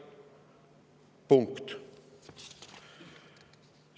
" Punkt!